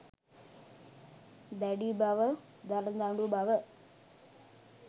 දැඩි බව, දරදඬු බව